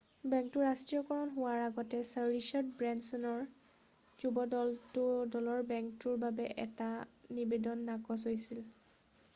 বেংকটোৰ ৰাষ্ট্ৰীয়কৰণ হোৱাৰ আগতে ছাৰ ৰিচাৰ্ড ব্ৰেঞ্চনৰ যুৱ দলৰ বেংকটোৰ বাবে এটা নিবেদন নাকচ হৈছিল